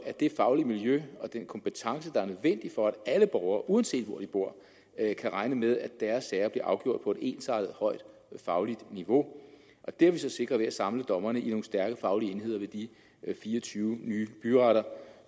det faglige miljø og den kompetence der er nødvendig for at alle borgere uanset hvor de bor kan regne med at deres sager bliver afgjort på et ensartet højt fagligt niveau det har vi så sikret ved at samle dommerne i nogle stærke faglige stærke enheder ved de fire og tyve nye byretter